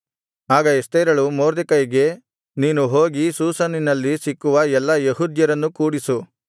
ಆಗ ಎಸ್ತೇರಳು ಮೊರ್ದೆಕೈಗೆ ನೀನು ಹೋಗಿ ಶೂಷನಿನಲ್ಲಿ ಸಿಕ್ಕುವ ಎಲ್ಲಾ ಯೆಹೂದ್ಯರನ್ನು ಕೂಡಿಸು